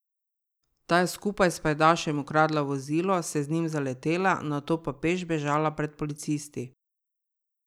Ta je skupaj s pajdašem ukradla vozilo, se z njim zaletela, nato pa peš bežala pred policisti.